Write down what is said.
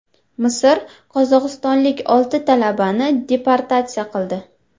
Misr qozog‘istonlik olti talabani deportatsiya qildi.